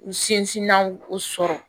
U sinsinna k'u sɔrɔ